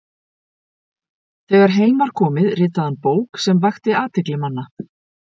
Þegar heim var komið ritaði hann bók sem vakti athygli manna.